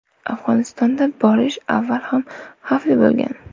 Afg‘onistonga borish avval ham xavfli bo‘lgan.